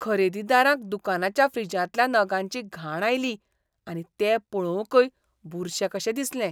खरेदीदारांक दुकानाच्या फ्रिजांतल्या नगांची घाण आयली आनी ते पळोवंकय बुरशे कशे दिसले.